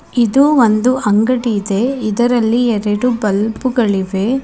ಇದು ಒಂದು ಅಂಗಡಿ ಇದೆ ಇದರಲ್ಲಿ ಎರಡು ಬಲ್ಬುಗಳಿವೆ.